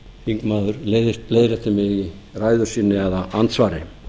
þingmaður leiðrétti mig í ræðu sinni eða andsvari